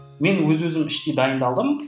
мен өз өзім іштей дайындалдым